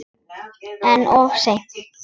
En of seinn.